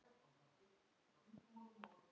Hvað þú varst falleg.